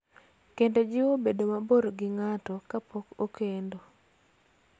Kendo jiwo bedo mabor gi ng�ato kapok okendo.